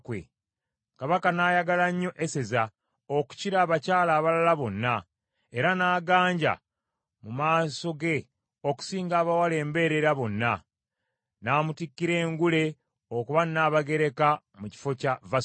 Kabaka n’ayagala nnyo Eseza okukira abakyala abalala bonna, era n’aganja mu maaso ge okusinga abawala embeerera bonna. N’amutikkira engule okuba Nnabagereka mu kifo kya Vasuti.